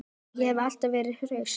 Ég hef alltaf verið hraust.